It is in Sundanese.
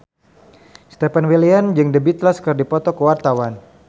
Stefan William jeung The Beatles keur dipoto ku wartawan